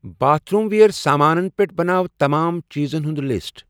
باتھ room ویر سامانن پٮ۪ٹھ بناو تمام چیزن ہُنٛد لسٹ۔